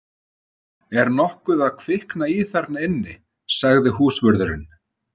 Er nokkuð að kvikna í þarna inni? sagði húsvörðurinn.